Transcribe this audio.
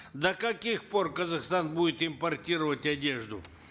до каких пор казахстан будет импортировать одежду